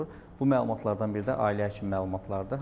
Bu məlumatlardan biri də ailə həkimi məlumatlardır.